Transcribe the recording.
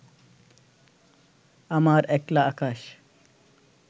আমার একলা আকাশ